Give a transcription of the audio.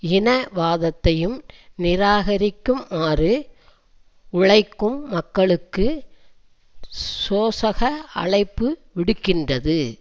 இனவாதத்தையும் நிராகரிக்குமாறு உழைக்கும் மக்களுக்கு சோசக அழைப்பு விடுக்கின்றது